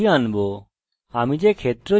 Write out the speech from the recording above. প্রথমে সর্বদা id হবে